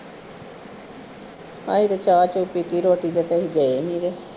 ਅਹੀ ਤੇ ਚਾਅ ਚੁੱਕ ਕੇ ਅਗੇ ਰੋਟੀ ਤੇ ਅਸੀਂ ਗਏ ਨਹੀ ਤੇ